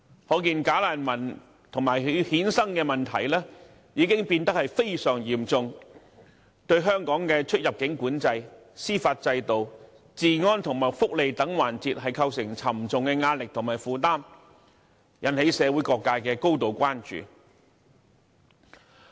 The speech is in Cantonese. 可見"假難民"及其衍生的問題已變得非常嚴重，對香港的出入境管制、司法制度、治安和福利等環節構成沉重壓力和負擔，引起社會各界高度關注。